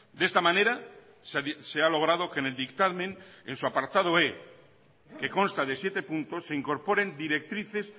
de esta manera se ha logrado que en el dictamen en su apartado e que consta de siete puntos se incorporen directrices